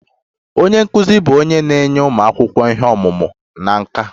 Onye nkụzi bụ onye na-enye ụmụ akwụkwọ ihe ọmụma na nkà.